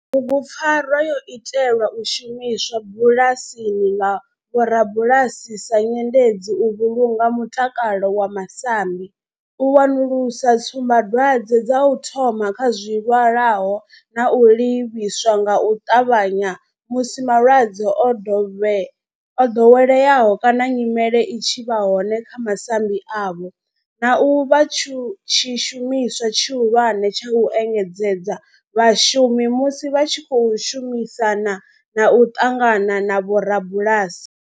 Bugupfarwa yo itelwa u shumiswa bulasini nga vhorabulasi sa nyendedzi u vhulunga mutakalo wa masambi, u wanulusa tsumbadwadzwe dza u thoma kha zwilwalaho na u livhisa nga u ṱavhanya musi malwadze o dovheleaho kana nyimele i tshi vha hone kha masambi avho, na u vha tshishumiswa tshihulwane tsha u engedzedza vhashumi musi vha tshi khou shumisana na u ṱangana na vhorabulasi.